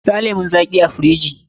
Sa lemun zaƙin a firiji!